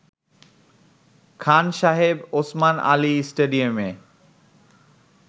খান সাহেব ওসমান আলী স্টেডিয়ামে